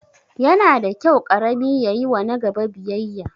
Yana da kyau ƙarami ya yiwa nagaba biyayya